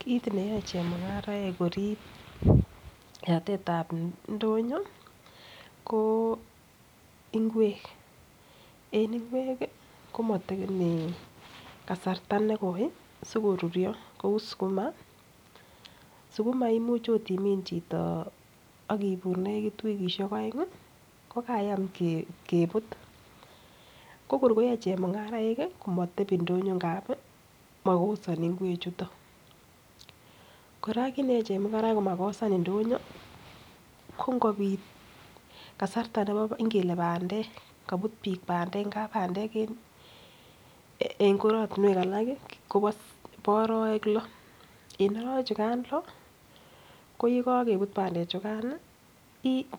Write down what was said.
Kit neyoe chemung'arek korib yatet ab ndonyo ko ingwek, en ingwek komotekeni kasrta nekoi sikoruryo ko sukuma, sukuma imuche ot imin chito ak ibur negit wikishek oeng ko kayam kebut ko kor koyoe chemungarainik komotebi ndonyo, ngab mokosoi ngwek chuto. Kora kit neyoe chemung'araik komakosan ndonyo ko ngobit kasarta nebo ingele bandek kobut biiik bandek, ngab bandek en korotinwek alak kobo arawek lo en arawek chukan lo ko ye kogebut bandekchukan